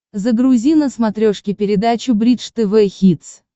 загрузи на смотрешке передачу бридж тв хитс